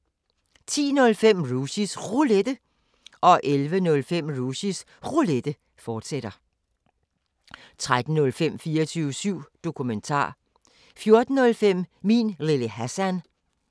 05:05: Mikrofonholder (G) 06:00: 24syv Morgen 10:05: Rushys Roulette 11:05: Rushys Roulette, fortsat 13:05: 24syv Dokumentar 14:05: Min Lille Hassan